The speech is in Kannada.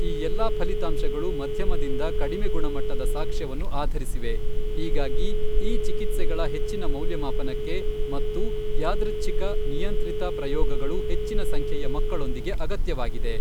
ಈ ಎಲ್ಲಾ ಫಲಿತಾಂಶಗಳು ಮಧ್ಯಮದಿಂದ ಕಡಿಮೆ ಗುಣಮಟ್ಟದ ಸಾಕ್ಷ್ಯವನ್ನು ಆಧರಿಸಿವೆ, ಹೀಗಾಗಿ ಈ ಚಿಕಿತ್ಸೆಗಳ ಹೆಚ್ಚಿನ ಮೌಲ್ಯಮಾಪನಕ್ಕೆ ಮತ್ತೂ ಯಾದೃಚ್ಛಿಕ ,ನಿಯಂತ್ರಿತ ಪ್ರಯೋಗಗಳು ಹೆಚ್ಚಿನ ಸಂಖ್ಯೆಯ ಮಕ್ಕಳೊಂದಿಗೆ ಅಗತ್ಯವಾಗಿದೆ.